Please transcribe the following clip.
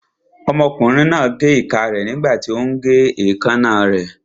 Ọmọkùnrin náà gé ìka rẹ̀ nígbàtí ó ún gé èékánná rẹ̀